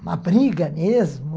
Uma briga mesmo.